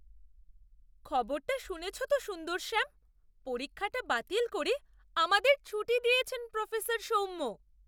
খবরটা শুনেছো তো, সুন্দরশ্যাম? পরীক্ষাটা বাতিল করে আমাদের ছুটি দিয়েছেন প্রফেসর সৌম্য!